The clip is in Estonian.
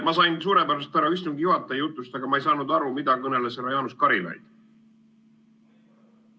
Ma sain suurepäraselt aru härra istungi juhataja jutust, aga ma ei saanud aru, mida kõneles härra Jaanus Karilaid.